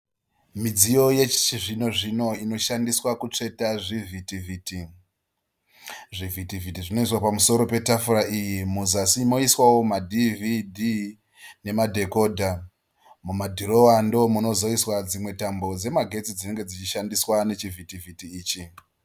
Midziyo yechi zvinozvino inoshandiswa kutsveta zvivhiti vhiti. Zvivhiti vhiti zvinoiswa pamusoro petafura iyi muzasi moiswawo madhivhidhi nemadhekodha. Mumadhirowa ndoo munozoiswa dzimwe tambo dzemagetsi dzinenge dzichishandiswa nechivhiti vhiti ichi.